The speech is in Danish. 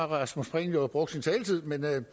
rasmus prehn jo brugt sin taletid men jeg